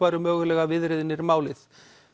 væru mögulega viðriðnir málið